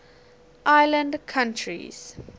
island countries